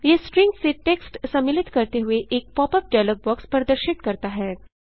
यह स्ट्रिंग से टेक्स्ट सम्मिलित करते हुए एक पॉप अप डायलॉग बॉक्स प्रदर्शित करता है